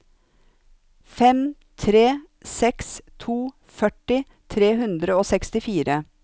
fem tre seks to førti tre hundre og sekstifire